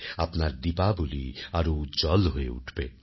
আপনার দীপাবলি আরো উজ্জ্বল হয়ে উঠবে